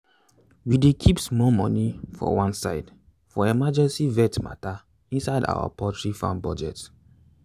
we dey keep small money for one side for emergency vet matter inside our poultry farm budget.